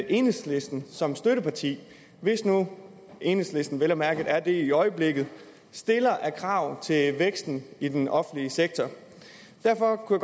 enhedslisten som støtteparti hvis nu enhedslisten vel og mærke er det i øjeblikket stiller af krav til væksten i den offentlige sektor derfor kunne